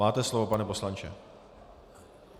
Máte slovo, pane poslanče.